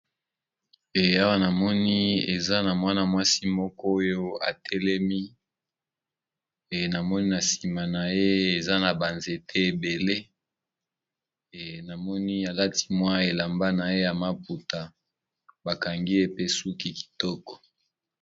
Awa namoni eza na mwana-mwasi moko oyo atelemi namoni na nsima na ye eza na banzete ebele. Namoni alati mwa elamba na ye ya maputa bakangi ye pe suki kitoko.